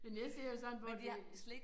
Men jeg ser jo sådan på det det